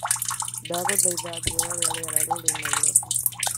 ndaguthaitha njĩĩra ũrĩa rĩera rĩrĩ Nairobi.